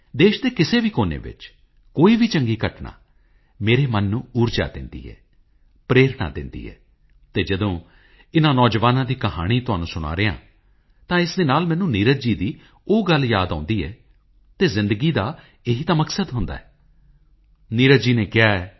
ਦੇਸ਼ ਦੇ ਕਿਸੇ ਵੀ ਕੋਨੇ ਵਿੱਚ ਕੋਈ ਵੀ ਚੰਗੀ ਘਟਨਾ ਮੇਰੇ ਮਨ ਨੂੰ ਊਰਜਾ ਦਿੰਦੀ ਹੈ ਪ੍ਰੇਰਨਾ ਦਿੰਦੀ ਹੈ ਅਤੇ ਜਦੋਂ ਇਨ੍ਹਾਂ ਨੌਜਵਾਨਾਂ ਦੀ ਕਹਾਣੀ ਤੁਹਾਨੂੰ ਸੁਣਾ ਰਿਹਾਂ ਹਾਂ ਤਾ ਇਸ ਦੇ ਨਾਲ ਮੈਨੂੰ ਨੀਰਜ ਜੀ ਦੀ ਉਹ ਗੱਲ ਯਾਦ ਆਉਂਦੀ ਹੈ ਅਤੇ ਜ਼ਿੰਦਗੀ ਦਾ ਇਹੀ ਤਾਂ ਮਕਸਦ ਹੁੰਦਾ ਹੈ ਨੀਰਜ ਜੀ ਨੇ ਕਿਹਾ ਹੈ